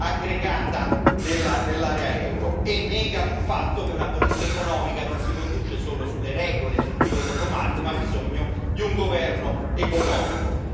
aggregata della zona euro, oltre a negare il fatto che una politica economica non si conduce solo sulle regole, sul pilota automatico, ma ha bisogno di un governo economico.